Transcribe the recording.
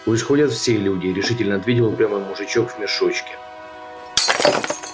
пусть ходят все люди решительно ответил упрямый мужичок в мешочке